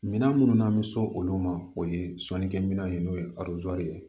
Minɛn minnu n'an bɛ so olu ma o ye sɔnnikɛminɛn ye n'o ye ye